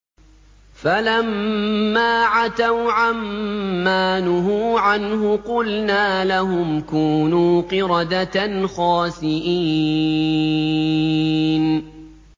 فَلَمَّا عَتَوْا عَن مَّا نُهُوا عَنْهُ قُلْنَا لَهُمْ كُونُوا قِرَدَةً خَاسِئِينَ